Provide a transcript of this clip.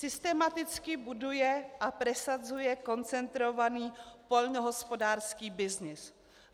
Systematicky buduje a presadzuje koncentrovaný poľnohospodársky byznys.